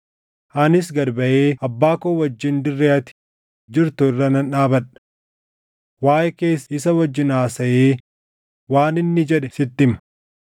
Anis gad baʼee abbaa koo wajjin dirree ati jirtu irra nan dhaabadha. Waaʼee kees isa wajjin haasaʼee waan inni jedhe sitti hima.”